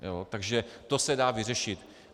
Takže to se dá vyřešit.